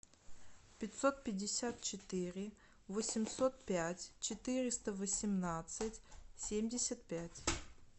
пятьсот пятьдесят четыре восемьсот пять четыреста восемнадцать семьдесят пять